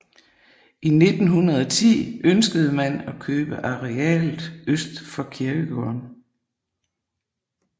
I 1910 ønskede man at købe arealet øst for kirkegården